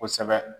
Kosɛbɛ